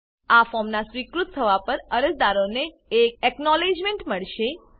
આ ફોર્મનાં સ્વીકૃત થવા પર અરજદારોને એક એકનોલેજમેંટ મળશે